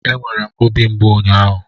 E nwere obi mgbu ụnyaahụ.